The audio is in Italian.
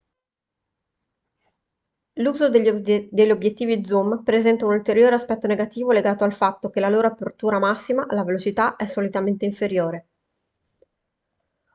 l'uso degli obiettivi zoom presenta un ulteriore aspetto negativo legato al fatto che la loro apertura massima la velocità è solitamente inferiore